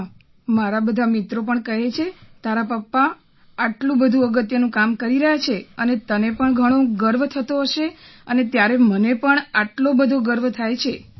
હા મારા બધા મિત્રો પણ કહે છે કે તારા પાપા આટલું બધું અગત્યનું કામ કરી રહ્યા છે અને તને પણ ઘણો ગર્વ થતો હશે અને ત્યારે મને પણ આટલો બધો ગર્વ થાય છે